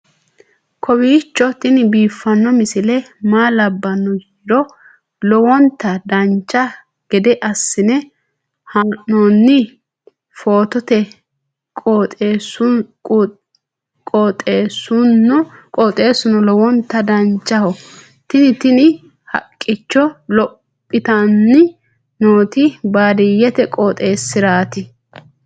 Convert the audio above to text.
kowiicho tini biiffanno misile maa labbanno yiniro lowonta dancha gede assine haa'noonni foototi qoxeessuno lowonta danachaho. tini tini haqqicho lophitanni nooti baadiyyete qooxeessiraati